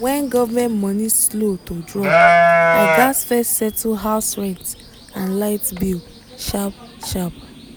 when government money slow to drop i gats first settle house rent and light bill sharp-sharp.